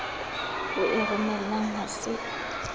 o e romelang ha se